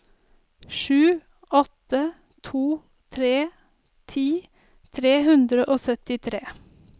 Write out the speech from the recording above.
sju åtte to tre ti tre hundre og syttitre